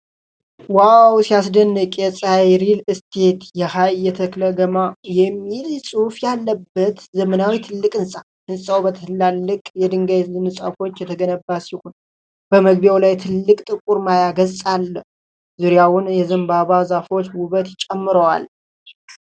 ዋው ሲያስደንቅ ! የ'ጸሐይ ሪል እስቴት ኃ.የተ.የግ.ማ' የሚል ጽሑፍ ያለበት ዘመናዊና ትልቅ ህንፃ። ህንፃው በትላልቅ የድንጋይ ንጣፎች የተገነባ ሲሆን በመግቢያው ላይ ትልቅ ጥቁር ማያ ገጽ አለ። ዙሪያውን የዘንባባ ዛፎች ውበት ጨምረዋል።